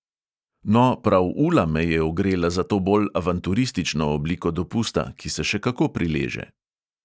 No, prav ula me je ogrela za to bolj avanturistično obliko dopusta, ki se še kako prileže.